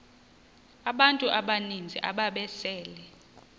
abantu abaninzi ababesele